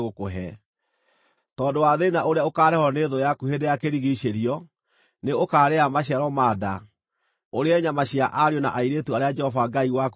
Tondũ wa thĩĩna ũrĩa ũkaareherwo nĩ thũ yaku hĩndĩ ya kũrigiicĩrio, nĩ ũkaarĩa maciaro ma nda, ũrĩe nyama cia ariũ na airĩtu arĩa Jehova Ngai waku akũheete.